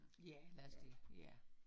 Ja, lad os det ja